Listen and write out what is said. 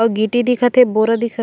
अउ गिटी दिखत हे बोरा दिखत--